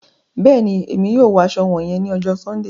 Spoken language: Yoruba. Bẹẹni, Èmí yóò wọ aṣọ wọnyẹn ni ọjọ Sundee